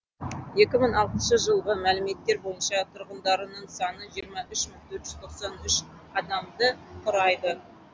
екі мың алтыншы жылғы мәліметтер бойынша тұрғындарының саны жиырма үш мың төрт жүз тоқсан үш адамды құрайды